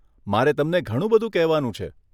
મારે તમને ઘણું બધું કહેવાનું છે.